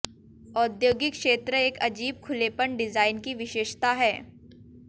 औद्योगिक क्षेत्र एक अजीब खुलेपन डिजाइन की विशेषता है